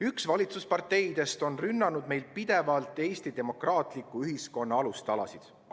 Üks valitsusparteidest on pidevalt rünnanud Eesti demokraatliku ühiskonna alustalasid.